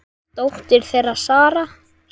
Dóttir þeirra: Sara.